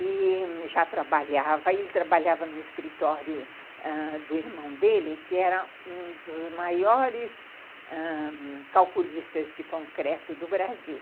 E já trabalhava, ele trabalhava no escritório ãh do irmão dele, que era um dos maiores ãh calculistas de concreto do Brasil.